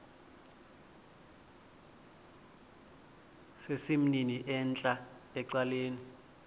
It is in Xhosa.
sesimnini entla ecaleni